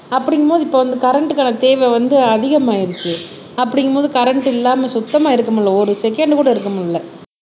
அப்படிங்கும்போது இப்ப இந்த கரண்ட்க்கான தேவை வந்து அதிகமாயிருச்சு அப்படிங்கும்போது கரண்ட் இல்லாம சுத்தமா இருக்க முடியலை ஒரு செகண்ட்கூட இருக்க முடியலை